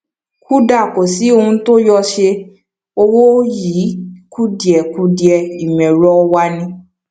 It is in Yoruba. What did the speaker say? kuda kò sí ohun tó yóò ṣe owó yín kùdìẹkudiẹ ìmọ ẹrọ wa ni